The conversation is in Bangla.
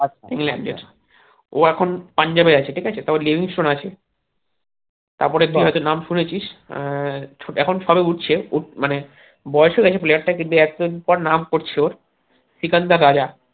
ও এখন পাঞ্জাবে আছে ঠিক আছে তো ও নাম শুনেছিস আহ এখন সবে উঠছে মানে বয়স হয়েগেছে player টার কিন্তু এখন তার নাম পড়ছে ও সিকান্দার রাজা